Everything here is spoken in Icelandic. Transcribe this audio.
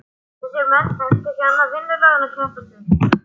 Þessir menn þekktu ekki annað vinnulag en að keppast við.